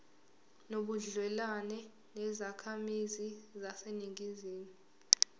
nobudlelwane nezakhamizi zaseningizimu